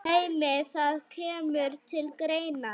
Heimir: Það kemur til greina?